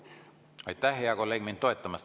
Aitäh, hea kolleeg, mind toetamast!